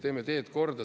Teeme teed korda.